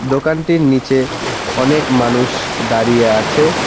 দোকানটির নীচে অনেক মানুষ দাঁড়িয়ে আছে।